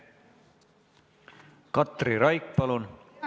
Katri Raik, palun!